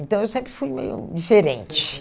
Então, eu sempre fui meio diferente.